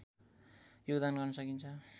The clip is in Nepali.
योगदान गर्न सकिन्छ